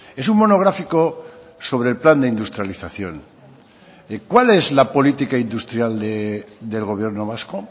es un monográfico sobre el plan de industrialización cuál es la política industrial del gobierno vasco